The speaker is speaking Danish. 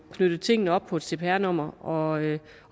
knyttet tingene op på et cpr nummer og